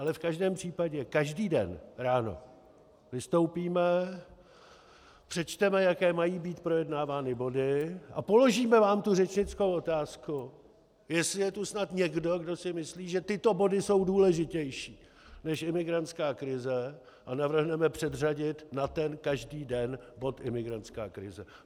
Ale v každém případě každý den ráno vystoupíme, přečteme, jaké mají být projednávány body, a položíme vám tu řečnickou otázku, jestli je tu snad někdo, kdo si myslí, že tyto body jsou důležitější než imigrantská krize, a navrhneme předřadit na ten každý den bod imigrantská krize.